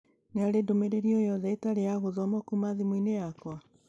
Nĩ harĩ ndũmĩrĩri o yothe ĩtarĩ ya gũthomwo kuuma thimũ-inĩ yakwa